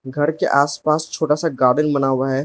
घर के आसपास छोटा सा गार्डन बना हुआ है।